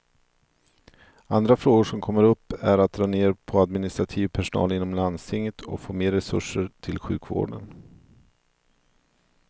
Andra frågor som kommer upp är att dra ner på administrativ personal inom landstinget och få mer resurser till sjukvården.